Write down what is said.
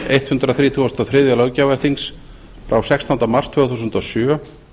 hundrað þrítugasta og þriðja löggjafarþings frá sextánda mars tvö þúsund og sjö